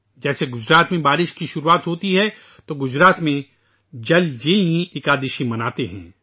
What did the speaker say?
جیسے گجرات میں بارش کی شروعات ہوتی ہے تو گجرات میں جل جیلانی اکادشی مناتے ہیں